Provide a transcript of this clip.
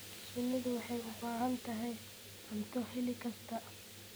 Shinnidu waxay u baahan tahay cunto xilli kasta.